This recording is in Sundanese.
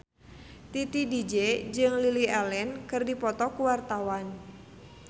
Titi DJ jeung Lily Allen keur dipoto ku wartawan